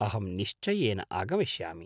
अहं निश्चयेन आगमिष्यामि।